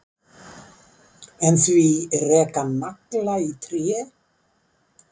En því reka nagla í tré?